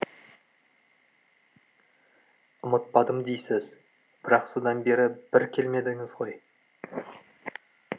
ұмытпадым дейсіз бірақ содан бері бір келмедіңіз ғой